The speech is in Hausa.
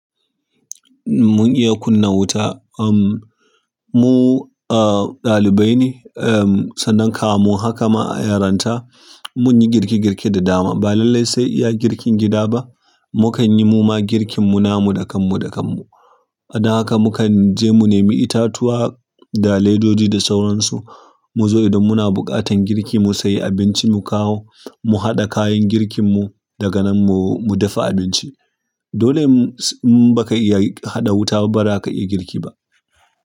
Mun iya kunna wuta. Uhm, mu, ah, ɗalibai ne, uhm, sannan kamun haka ma a yaranta mun yi girke girke da dama. Ba lallai sai iya girkin gida ba. Mu kan yi muma girkin mu namu da kanmu, da kanmu. A dan haka mu kan je mu nemi itatuwa da ledoji da sauransu. Mu zo idan muna buƙatan garki mu sayi abinci mu kawo, mu haɗa kayan girkin mu, daga nan mu, mu dafa abinci. Dole, in ba ka iya huɗa wuta ba, ba za ka iya girki ba.